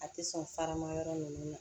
A tɛ sɔn farama yɔrɔ ninnu ma